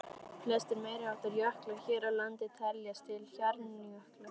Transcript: Flestir meiriháttar jöklar hér á landi teljast til hjarnjökla.